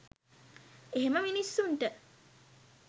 එහෙම මිනිස්සුන්ට